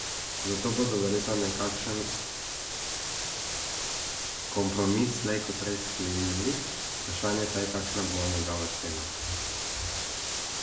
Zato bodo verjetno nekakšen kompromis slej ko prej sklenili, vprašanje pa je, kakšna bo njegova cena.